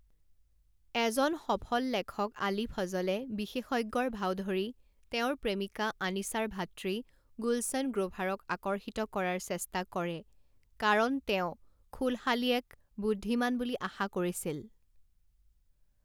এজন সফল লেখক আলী ফজলে বিশেষজ্ঞৰ ভাও ধৰি তেওঁৰ প্ৰেমিকা আনিছাৰ ভাতৃ গুলছন গ্ৰোভাৰক আকৰ্ষিত কৰাৰ চেষ্টা কৰে কাৰণ তেওঁ খুলশালিয়েক বুদ্ধিমান বুলি আশা কৰিছিল।